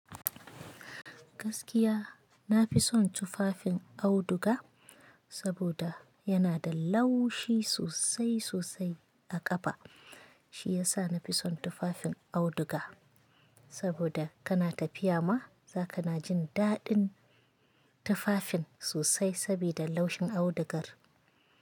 Gaskiya nafi son tufafin auduga, saboda yana da laushi sosai sosai a ƙafa. Shi yasa nafi son tufafin auduga, saboda kana tafiya ma, za ka na jin daɗin tufafin sosai sabida laushin audugar.